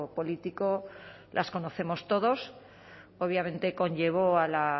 político las conocemos todos obviamente conllevó a